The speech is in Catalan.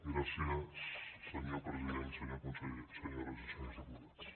gràcies senyor president senyor conseller senyores i senyors diputats